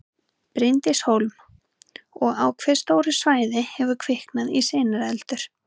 Bryndís Hólm: Og á hve stóru svæði hefur kviknað í sinueldur?